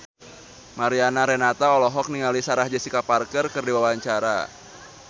Mariana Renata olohok ningali Sarah Jessica Parker keur diwawancara